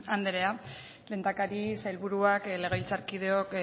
andrea lehendakari sailburuak legebiltzarkideok